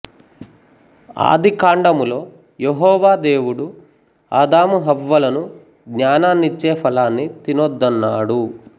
ఆదికాండములో యెహోవా దేవుడు ఆదాము హవ్వలను జ్ఞానాన్నిచే ఫలాన్ని తినొద్దన్నాడు